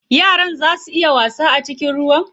Yaran zaa su iya wasa a cikin ruwan?